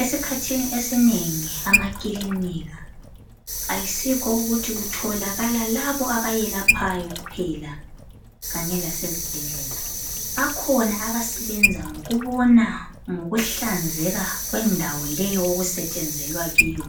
Esikhathini esinengi amakilinika ayisikho ukuthi kutholakala labo abayelaphayo kuphela kanye lasezibhedlela bakhona abasebenza ngokubona ngokuhlanzeka kwendawo leyo okusetshenzelwa kiyo